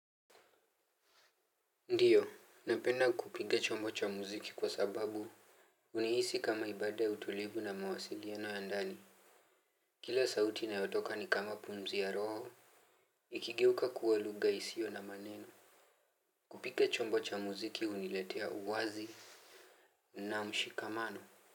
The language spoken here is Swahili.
Ndiyo, napenda kupiga chombo cha mziki kwa sababu. Unihisi kama ibada utulivu na mawasiliano ya ndani. Kila sauti inayotoka ni kama pumzi ya roho. Ikigeuka kuwa lugha isio na maneno. Kupiga chombo cha mziki huniletea uwazi. Na mshikamano.